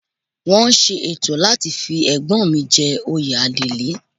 Wọ́n ṣe ètò láti fi Ẹ̀gbọ́n mi jẹ oyè Adelé